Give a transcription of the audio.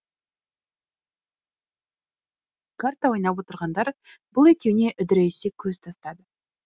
карта ойнап отырғандар бұл екеуіне үдірейісе көз тастады